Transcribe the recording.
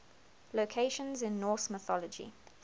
locations in norse mythology